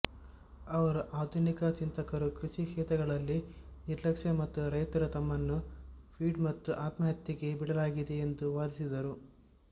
ಅವರು ಆಧುನಿಕ ಚಿಂತಕರು ಕೃಷಿ ಕ್ಷೇತ್ರಗಳಲ್ಲಿ ನಿರ್ಲಕ್ಷ್ಯ ಮತ್ತು ರೈತರು ತಮ್ಮನ್ನು ಫೀಡ್ ಮತ್ತು ಆತ್ಮಹತ್ಯೆಗೆ ಬಿಡಲಾಗಿದೆ ಎಂದು ವಾದಿಸಿದರು